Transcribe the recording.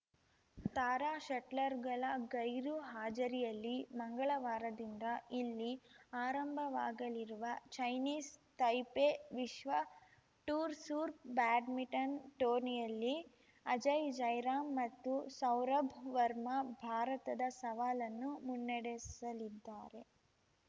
ತಾರಾ ಶಟ್ಲರ್‌ಗಳ ಗೈರು ಹಾಜರಿಯಲ್ಲಿ ಮಂಗಳವಾರದಿಂದ ಇಲ್ಲಿ ಆರಂಭವಾಗಲಿರುವ ಚೈನೀಸ್‌ ತೈಪೆ ವಿಶ್ವ ಟೂರ್‌ ಸೂರ್ಪ್ ಬ್ಯಾಡ್ಮಿಂಟನ್‌ ಟೂರ್ನಿಯಲ್ಲಿ ಅಜಯ್‌ ಜಯರಾಮ್‌ ಮತ್ತು ಸೌರಭ್‌ ವರ್ಮಾ ಭಾರತದ ಸವಾಲನ್ನು ಮುನ್ನಡೆಸಲಿದ್ದಾರೆ